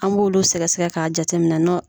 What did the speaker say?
An b'olu sɛgɛ sɛgɛ k'a jateminɛ nɔ